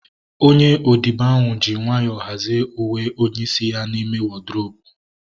Onye odibo ahu ji nwayọọ hazie uwe onye isi ya n'ime wọdrobu